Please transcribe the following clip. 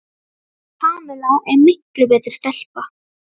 Kamilla er miklu betri stelpa.